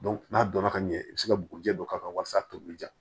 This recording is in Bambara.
n'a donna ka ɲɛ i bi se ka bugujɛ dɔ k'a kan walasa tobili ja